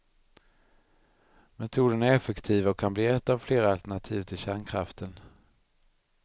Metoden är effektiv och kan bli ett av flera alternativ till kärnkraften.